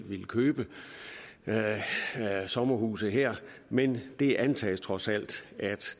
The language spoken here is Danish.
ville købe sommerhuse her men det antages trods alt at